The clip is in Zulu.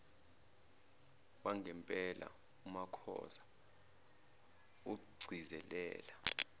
wangempela umakhoza ugcizelela